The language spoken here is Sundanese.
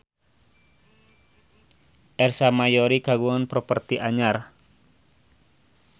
Ersa Mayori kagungan properti anyar